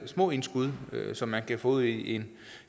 små indskud som man kan få ud i en